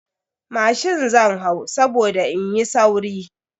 Mashin zan hau saboda in yi sauri.